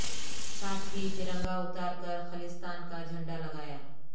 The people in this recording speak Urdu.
ساتھ ہی ترنگا اتار کر خالصتان کا جھنڈا لگایا